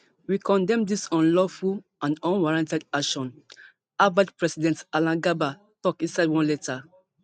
we condemn dis unlawful and unwarranted action harvard president alan garber tok inside one letter